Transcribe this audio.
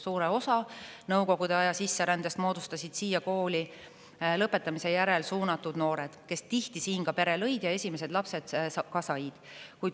Suure osa Nõukogude aja sisserändest moodustasid siia kooli lõpetamise järel suunatud noored, kes tihti siin ka pere lõid ja esimesed lapsed said.